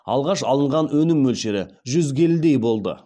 алғаш алынған өнім мөлшері жүз келідей болды